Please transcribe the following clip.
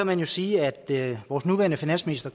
man kan sige at vores nuværende finansminister